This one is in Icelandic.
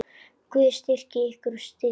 Guð styrki ykkur og styðji.